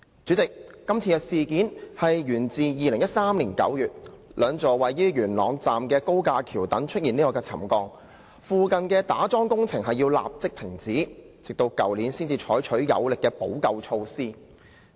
主席，今次的事件源自2013年9月，兩座位於元朗站的高架橋躉出現沉降，附近的打樁工程須立即停止，直到去年才採取有力的補救措施。